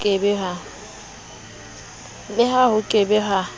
le ha e be ke